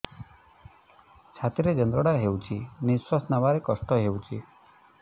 ଛାତି ରେ ଯନ୍ତ୍ରଣା ହେଉଛି ନିଶ୍ଵାସ ନେବାର କଷ୍ଟ ହେଉଛି